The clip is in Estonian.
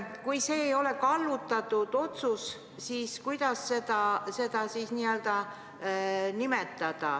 Kui see ei ole kallutatud sõnastus, siis kuidas seda nimetada?